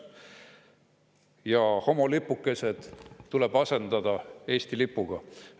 Ja homolipukesed tuleb asendada Eesti lipuga.